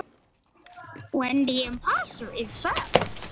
Hverjar telja matsmenn vera ástæður ástands drenlagnanna?